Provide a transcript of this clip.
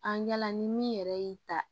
An ɲala ni min yɛrɛ y'i ta